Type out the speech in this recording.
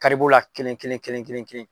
Kari b'o la kelen kelen kelen kelen.